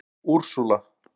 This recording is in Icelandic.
Úrsúla